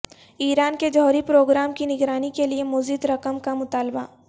ایران کے جوہری پروگرام کی نگرانی کے لیے مزید رقم کا مطالبہ